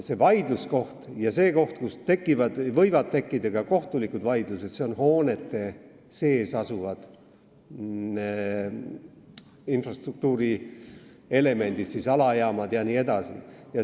See vaidluskoht, kus võivad tekkida ka kohtulikud vaidlused, on hoonete sees asuvad infrastruktuurielemendid, st alajaamad jms.